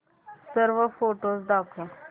सर्व फोटोझ दाखव